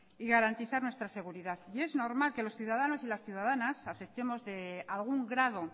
y garantizar nuestra seguridad y es normal que los ciudadanos y ciudadanas aceptemos de algún grado